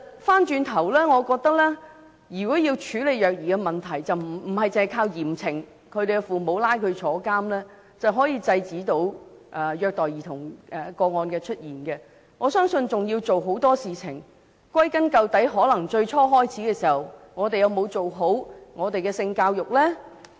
反過來說，我認為如果要處理虐兒的問題，不是只靠嚴懲父母，把他們送到監獄便可制止虐待兒童個案的出現，我相信還要做很多事情，而歸根究底，可能在最初開始時，我們有否有效推行性教育呢？